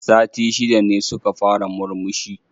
Sati shida ne suka fara murmushi